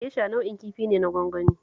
Gesha nau'in kifi ne na gwangwani